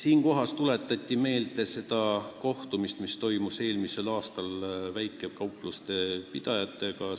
Istungil tuletati meelde seda kohtumist, mis toimus eelmisel aastal väikekaupluste pidajatega.